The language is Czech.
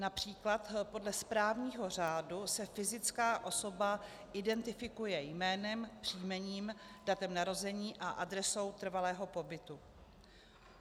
Například podle správního řádu se fyzická osoba identifikuje jménem, příjmením, datem narození a adresou trvalého pobytu.